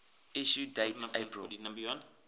issue date april